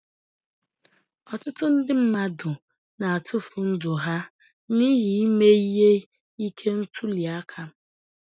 Ọtụtụ ndị mmadụ na-atufụ ndụ ha n'ihi ime ihe ike ntuli aka.